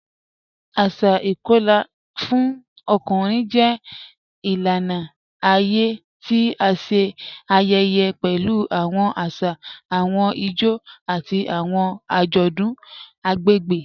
Asà ìkọla fún ọkùnrin jẹ ilànà ayé tí à ṣé ayẹyẹ pẹ̀lú awọn àṣà, awọn ìjó, àti awọn ajọdun agbegbe.